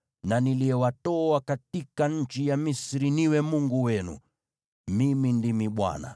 na niliyewatoa katika nchi ya Misri niwe Mungu wenu. Mimi ndimi Bwana .”